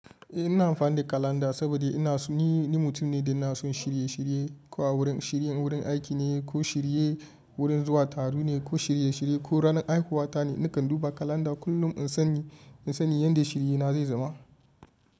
Eh ina amfani da kalanda saboda ni mutum ne da ina son shirye shirye, ko a wurin shirin wurin aiki ne, ko shirye wurin zuwa taro ne, ko shirye shirye ko ranar haihuwa ta ne, nakan duba kalanda kullum in sani yanda shirina zai zama.